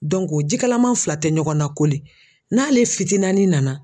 ji kalaman fila tɛ ɲɔgɔn nakoli n'ale fitinani nana